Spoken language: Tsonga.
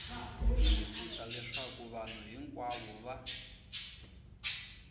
tiyisisa leswaku vanhu hinkwavo va